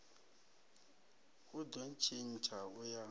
u do tshintsha u ya